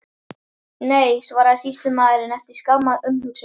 Nei, svaraði sýslumaðurinn, eftir skamma umhugsun.